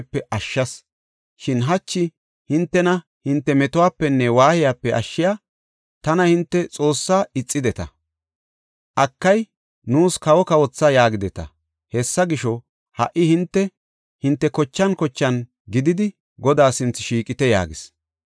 Shin hachi hintena hinte metuwapenne waayiyape ashshiya tana hinte Xoossaa ixideta. ‘Akay, nuus kawo kawotha’ yaagideta. Hessa gisho, ha77i hinte, hinte kochan kochan gididi Godaa sinthe shiiqite” yaagis.